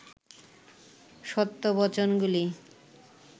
সত্য বচনগুলি